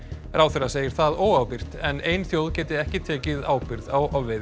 ráðherra segir það óábyrgt en ein þjóð geti ekki tekið ábyrgð á ofveiði